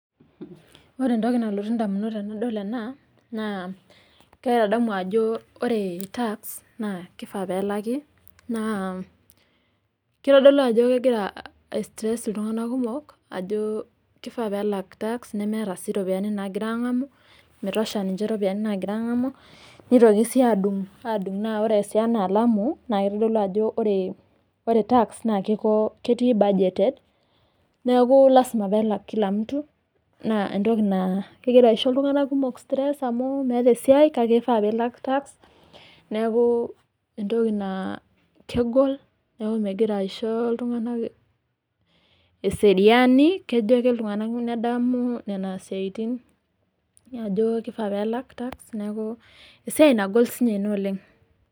Ore entoki nalotu indamunot tenadol ena naa kaitadamu ajo ore tax naa kifaa peelaki naa kitodoli ajo kegiara aitanyamal iltunganak peelaki nemeeta sii iropiayiani naagira angamu ore enkalamu naa itodolu ajo oretax naa budgeted naa lasima peelaki naa keyau indamunot kake ifaa piilak neaku kegol na meyau eseriani amu ore peedamu naa esiai nagol oleng